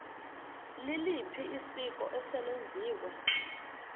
liliphi isiko eselenziwe